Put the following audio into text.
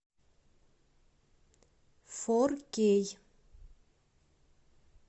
форкей